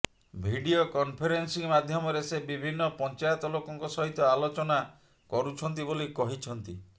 video conferencing ମାଧ୍ୟମରେ ସେ ବିଭିନ୍ନ ପଞ୍ଚାୟତ ଲୋକଙ୍କ ସହିତ ଆଲୋଚନା କରୁଛନ୍ତି ବୋଲି କହିଛନ୍ତି